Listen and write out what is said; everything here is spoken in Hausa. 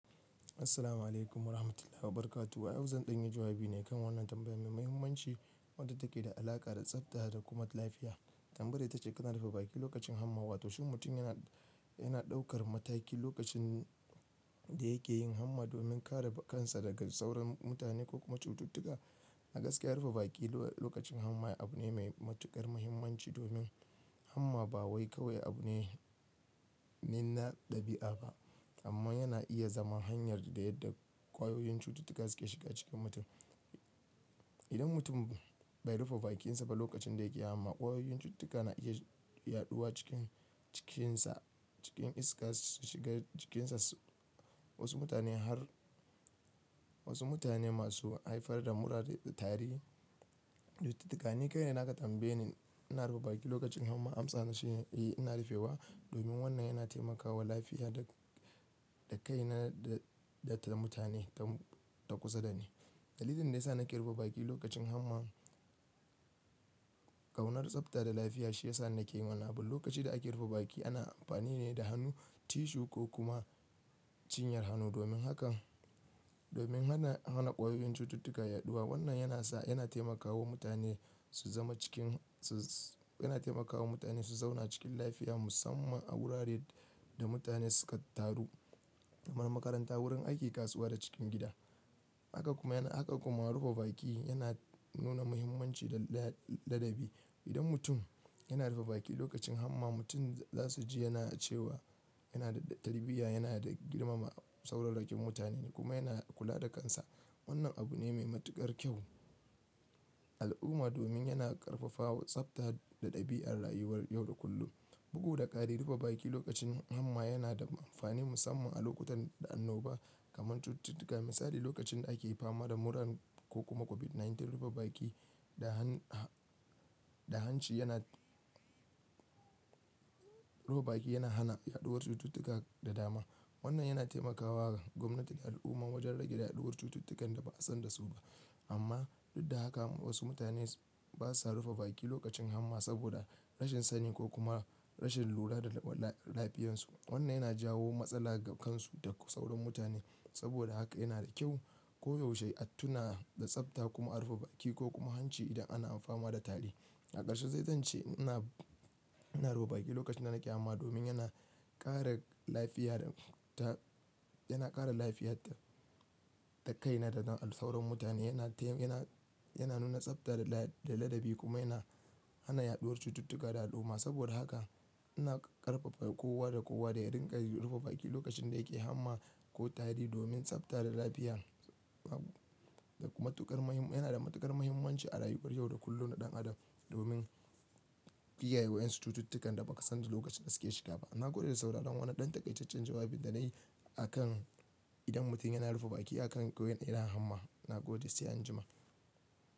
Assalamu alaikum wa rahmatullah wa barakatuh. A yau zan ɗanyi jawabi ne kan wannan tambayan mai muhimmanci, wadda take da alaƙa da tsabta da kuma lafiya. Tambayar ita ce, "Kana rufe baki lokacin hamma?" Wato shim mutum yana, yana ɗaukar mataki lokacin, da yake yin hamma domin kare kansa daga sauran mutane ko kuma cututtuka. A gaskiya rufe baki lokacin hamma abu ne mai matuƙar muhimmanci, domin hamma ba wai kawai abu ne, ne na ɗabi'a ba amma yana iya zama hanyar da yadda, ƙwayoyin cututtuka suke shiga cikin mutum. Idan mutum bai rufe bakinsa ba lokacin da yake hamma, ƙwayoyin cututtuka na iya yaɗuwa cikin, cikinsa, cikin iska su shiga jikinsa. Wasu mutane har, wasu mutane masu haifar da mura da tari. Cututtuka. Ni kai na naga tambayin "ina rufe baki lokacin hamma" amsa na shi, eh ina rufewa domin wannan yana taimakawa lafiya da, da kaina da, da mutane ta kusa da ni. Dalilin da ya sa nake rufe baki lokacin hamma, ƙaunar tsabta da lafiya shi ya sa nake yi wannan abu. Lokacin da ake rufe baki ana amfani ne da hannu, tissue ko kuma cinyar hannu domin hakan, domin hana, hana ƙwayoyin cututtuka yaɗuwa. Wannan yana sa, yana taimakawa mutane su zama cikin, su, suna taimakawa mutane su zauna cikin lafiya musamman a wuraren da mutane suka taru kamar makaranta, wurin aiki, kasuwa da cikin gida. Haka kuma yana, haka kuma rufe baki yana nuna muhimmanci da ladabi. Idan mutum yana rufe baki lokacin hamma, mutum za su ji yana cewa yana da tarbiyya, yana da girmama sauran raƙe mutane kuma yana kula da kansa. Wannan abu ne mai matuƙar kyau a al'umma domin yana ƙarfafawa tsabta da ɗabi'ar rayuwar yau da kullum. Bugu da ƙari rufe baki lokacin hamma yana da amfani musamman a lokutan da annoba kamar cututtuka. Misali lokacin da ake fama da murar ko kuma COVID-19, rufe baki da han, da hanci yana, rufe baki yana hana yaɗuwar cututtuka da dama. Wannan yana taimakawa gwamnati da al'umma wajen rage yaɗuwar cututtukan da ba a san da su ba. Amma duk da haka wasu mutane ba sa rufe baki lokacin hamma saboda rashin sani ko kuma rashin lura da lafiyarsu. Wannan yana jawo matsala ga kansu da sauran mutane. Saboda haka yana da kyau koyaushe a tuna da tsabta kuma a rufe baki ko kuma hanci idan ana amfani da tari. A ƙarshe sai zan ce ina, ina rufe baki lokacin da nake hamma domin yana ƙara lafiya da, ta, yana ƙara lafiyar da kaina da na sauran mutane. Yana taimi, yana, yana nuna tsabta da ladabi kuma yana hana yaɗuwar cututtuka da al'umma. Saboda haka ina ƙarfafa kowa da kowa da ya riƙa rufe baki lokacin da yake hamma ko tari domin tsabta da lafiya. Matuƙar mahim, yana da matuƙar muhimmanci a rayuwar yau da kullum na ɗan adam domin kiyayewa ƴan cututtukan da ba ka san da lokacin da suke shiga ba. Na gode da sauraron wannan ɗan takaitaccen jawabin da na yi a kan idan mutum yana rufe baki a kan goyon idan hamma. Na gode sai an jima.